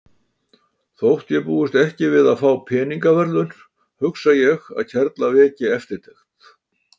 Þótt ég búist ekki við að fá peningaverðlaun hugsa ég að kerla veki eftirtekt.